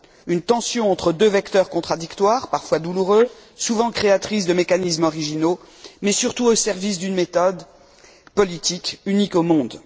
Une tension entre deux vecteurs contradictoires, parfois douloureuse, souvent créatrice de mécanismes originaux, mais surtout au service d'une méthode politique unique au monde.